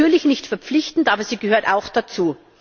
Natürlich nicht verpflichtend, aber sie gehört auch dazu.